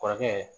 Kɔrɔkɛ